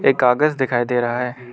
एक कागज दिखाई दे रहा है।